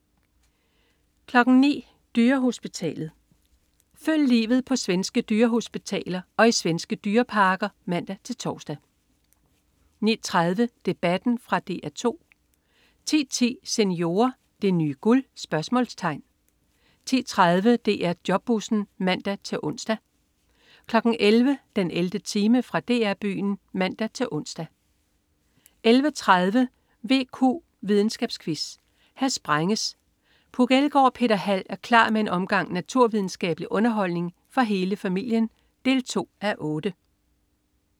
09.00 Dyrehospitalet. Følg livet på svenske dyrehospitaler og i svenske dyreparker (man-tors) 09.30 Debatten. Fra DR 2 10.10 Seniorer. Det nye guld? 10.30 DR Jobbussen (man-ons) 11.00 den 11. time. Fra DR-Byen (man-ons) 11.30 VQ videnskabsquiz. Her sprænges! Puk Elgård og Peter Hald er klar med en omgang naturvidenskabelig underholdning for hele familien 2:8